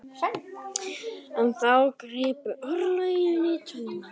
En þá gripu örlögin í taumana.